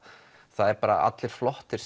það eru allir flottir